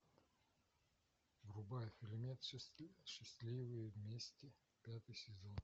врубай фильмец счастливые вместе пятый сезон